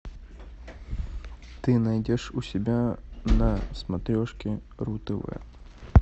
ты найдешь у себя на смотрешке ру тв